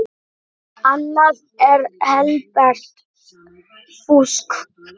Annað er helbert fúsk.